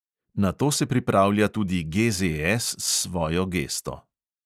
Na to se pripravlja tudi GZS s svojo gesto.